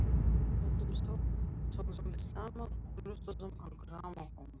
Stundum þögðum við saman og hlustuðum á grammófón.